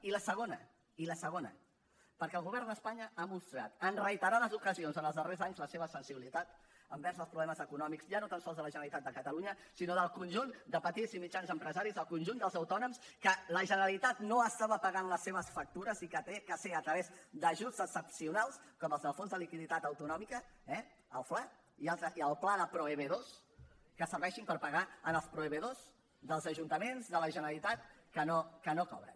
i la segona i la segona perquè el govern d’espanya ha mostrat en reiterades ocasions en els darrers anys la seva sensibilitat envers els problemes econòmics ja no tan sols de la generalitat de catalunya sinó del conjunt de petits i mitjans empresaris del conjunt dels autònoms que la generalitat no estava pagant les seves factures i que ha de ser a través d’ajuts excepcionals com els del fons de liquiditat autonòmic eh el fla i el pla de proveïdors que serveixin per pagar els proveïdors dels ajuntaments de la generalitat que no cobren